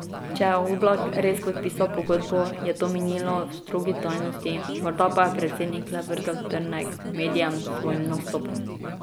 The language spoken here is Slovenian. Če je Oblak res podpisal pogodbo, je to minilo v strogi tajnosti, morda pa je predsednik le vrgel trnek medijem s svojim nastopom.